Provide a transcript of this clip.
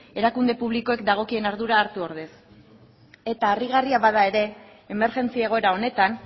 erakunde publikoek dagokien ardura hartu ordez eta harrigarria bada ere emergentzia egoera honetan